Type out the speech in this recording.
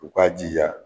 U k'a jija